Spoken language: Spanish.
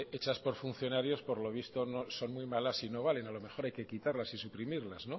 hechas por funcionarios por lo visto son muy malas y no valen a lo mejor hay que quitarlas y suprimirlas